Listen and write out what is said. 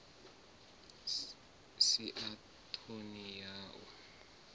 si na ṱhoni ya u